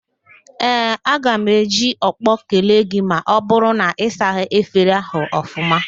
Ee, aga m eji ọkpọ kelee gị ma ọ bụrụ na ị saghị efere ahụ ọfụma